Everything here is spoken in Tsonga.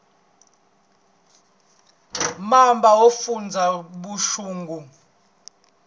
va mamba yo fundza vuxungu